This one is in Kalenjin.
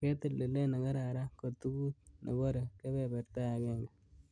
Ketil tilet nekararan ko tugut nebore kebeberta agenge.